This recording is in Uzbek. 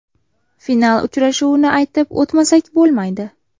Final uchrashuvini aytib o‘tmasak bo‘lmaydi.